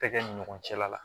Tɛgɛ ni ɲɔgɔn cɛla la